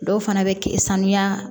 Dɔw fana bɛ k sanuya